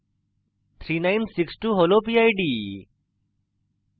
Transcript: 3962 হল pid